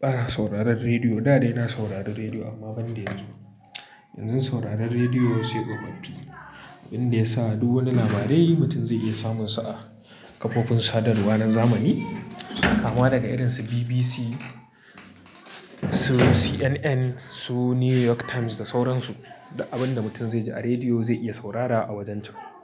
bana sauraron rediyo. Da dai na saurari rediyo amma ban da yanzu. Yanzu sauraron rediyo sai tsofaffi, inda ya sa duk wani labari mutum zai iya samunsa a kafofin sadarwar zamani kama daga irin su BBC, su CNN, su New York Times da sauran su. Duk abin da mutum zai ji a rediyo zai iya saurara a wajen ta.